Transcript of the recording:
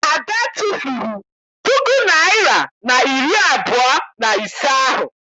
Ada tụfuru puku naịra na iri abụọ na ise ahụ.